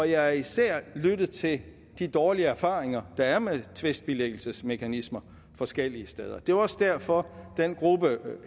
jeg har især lyttet til de dårlige erfaringer der er med tvistbilæggelsesmekanismer forskellige steder det er jo også derfor den gruppe